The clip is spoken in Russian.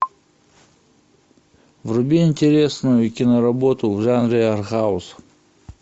вруби интересную киноработу в жанре артхаус